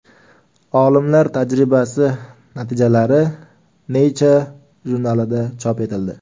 Olimlar tajribasi natijalari Nature jurnalida chop etildi .